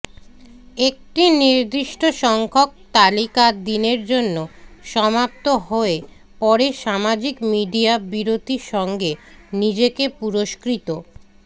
একটি নির্দিষ্ট সংখ্যক তালিকা দিনের জন্য সমাপ্ত হয় পরে সামাজিক মিডিয়া বিরতি সঙ্গে নিজেকে পুরস্কৃত